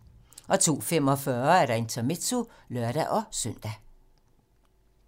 02:45: Intermezzo (lør-søn)